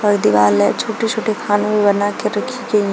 और दिवाल है छोटे छोटे खाने में बनाकर रखी गई है।